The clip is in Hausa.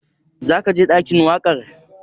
Za ka je ɗakin waƙa?